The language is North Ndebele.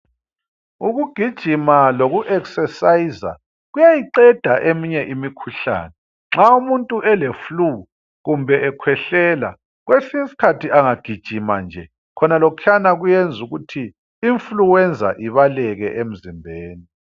Ukugijima loku eksesayiza kuyayiqeda eminye imikhuhlane. Nxa umuntu eleflu kumbe ekhwehlela. Kwesinye isikhathi engagijima nje, khonalokhuyana kuyenza ukuthi influenza ibaleke emzimbeni.